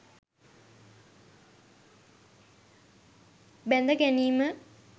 බැඳ ගැනීම